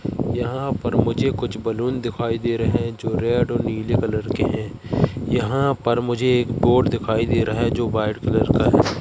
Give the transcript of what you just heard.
यहाँ पर मुझे कुछ बलून दिखाई दे रहे हैं जो रेड और नीले कलर के हैं यहाँ पर मुझे एक बोर्ड दिखाई दे रहा है जो वाइट कलर का है।